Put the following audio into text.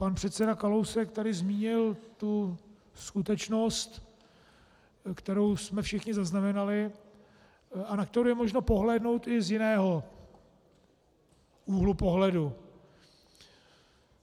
Pan předseda Kalousek tady zmínil tu skutečnost, kterou jsme všichni zaznamenali a na kterou je možno pohlédnout i z jiného úhlu pohledu.